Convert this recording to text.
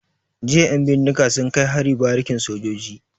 Jiya 'yan bindiga sun kai hari barikin sojoji.